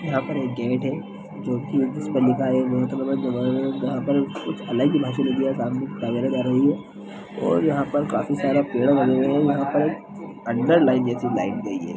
यहाॅं पर एक गेट है जो कि इसपर लिखा है कुछ अलग ही भाषा लिख दिया है और यहाॅं पर काफी सारा पेड़ लगे हुए हैं यहाॅं पर एक अन्डरलाइन जैसी लाइन गई है।